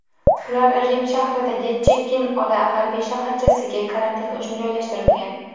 Ular Rim shahridagi Chekkin’ola harbiy shaharchasiga karantin uchun joylashtirilgan.